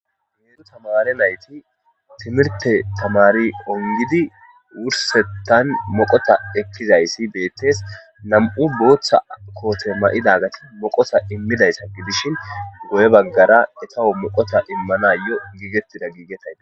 needu tamare nayti timirte tamari ongidi wursettan moqota ekkizayssi beettes nam7u booththa koote may7ida gati moqota immidayssa gidishin goye baggara etaho moqota immanayo giigettida giigetaya